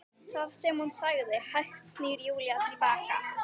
Það sem hún sagði- Hægt snýr Júlía til baka.